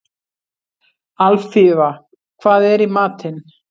Alfífa, hvað er í matinn?